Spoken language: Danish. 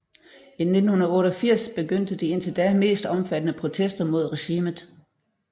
I 1988 begyndte de indtil da mest omfattende protester mod regimet